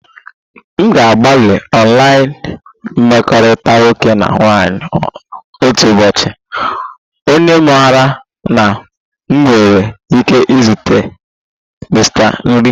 M ga-agbalị online mkpakọrịta nwoke na nwaanyị otu ụbọchị, onye maara na m nwere ike izute m Mr nri